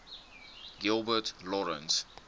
gilbert lawrence